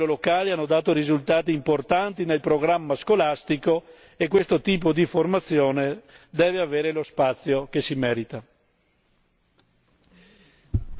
le campagne di sensibilizzazione a livello locale hanno dato risultati importanti nel programma scolastico e questo tipo di formazione deve avere lo spazio che si merita.